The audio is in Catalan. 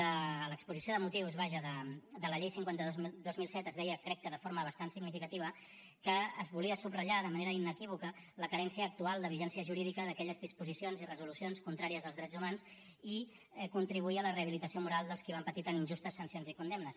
a l’exposició de motius vaja de la llei cinquanta dos dos mil set es deia que crec que de forma bastant significativa que es volia subratllar de manera inequívoca la mancança actual de vigència jurídica d’aquelles disposicions i resolucions contràries als drets humans i contribuir a la rehabilitació moral dels qui van patir tan injustes sancions i condemnes